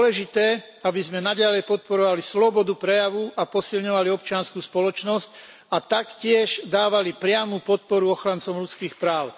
Je dôležité, aby sme naďalej podporovali slobodu prejavu a posilňovali občiansku spoločnosť a taktiež dávali priamu podporu ochrancom ľudských práv.